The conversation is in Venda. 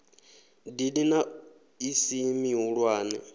dini na i si mihulwane